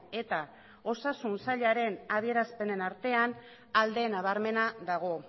eta osasun sailaren adierazpenen artean alde nabarmena dago